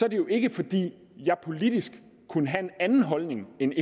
at det jo ikke er fordi jeg politisk kunne have en anden holdning end